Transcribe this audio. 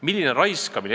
Milline raiskamine!